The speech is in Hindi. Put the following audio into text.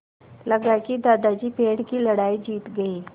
लगा कि दादाजी पेड़ की लड़ाई जीत गए